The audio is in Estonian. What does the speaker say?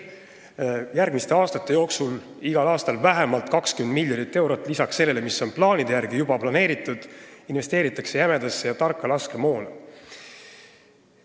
Järgmiste aastate jooksul investeeritakse igal aastal vähemalt 20 miljonit eurot lisaks sellele, mis on juba varem planeeritud, jämedasse ja tarka laskemoona.